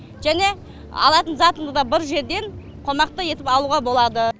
және алатын затымызды бір жерден қомақты етіп алуға болады